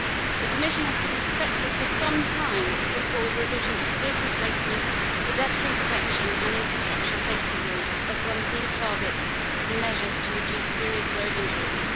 The Commission has been expected for some time to put forward revisions to vehicle safety, pedestrian protection and infrastructure safety rules, as well as new targets and measures to reduce serious road injuries.